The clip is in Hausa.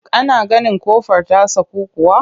Ka na ganin ƙofar ta saku kuwa?